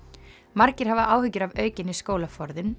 margir hafa áhyggjur af aukinni